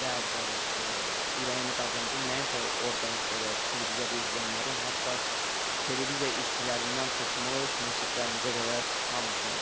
Bəli, bəli, ürəyini qazandım, nəinki orda belə televiziyada izləyənlərin, hətta televiziya işçilərindən tutmuş, münsiflərimizə qədər hamısının.